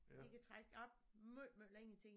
De kan trække op måj måj længe ting